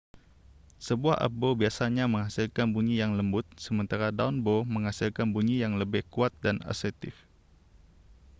sebuah up bow biasanya menghasilkan bunyi yang lembut sementara down-bow menghasilkan bunyi yang lebih kuat dan asertif